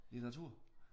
Litteratur